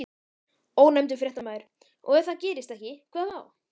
Ónefndur fréttamaður: Og ef það gerist ekki, hvað þá?